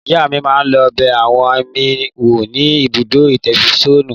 Ìyá mí má lọ bẹ ẹ̀gbọ́n mi wò ní ibùdó tẹlifiṣionu.